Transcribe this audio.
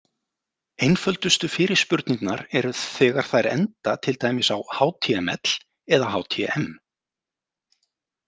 Einföldustu fyrirspurnirnar eru þegar þær enda til dæmis á html eða htm.